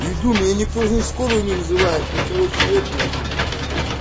иду меня никто не скорую не вызывает ни короче эту нахуй